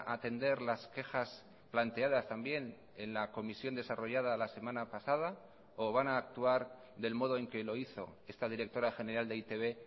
atender las quejas planteadas también en la comisión desarrollada la semana pasada o van a actuar del modo en que lo hizo esta directora general de e i te be